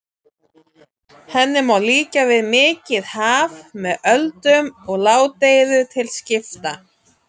Henni má líkja við mikið haf með öldum og ládeyðu til skipta.